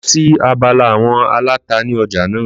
Lọ sí abala àwon aláta ni ọjà naa